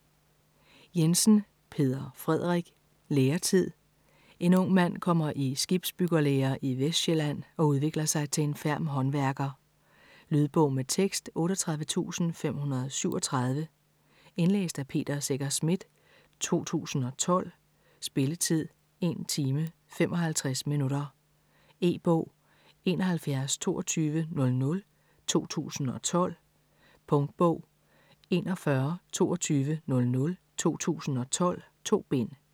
Jensen, Peder Frederik: Læretid En ung mand kommer i skibsbyggerlære i Vestsjælland og udvikler sig til en ferm håndværker. Lydbog med tekst 38537 Indlæst af Peter Secher Smith, 2012. Spilletid: 1 timer, 55 minutter. E-bog 712200 2012. Punktbog 412200 2012. 2 bind.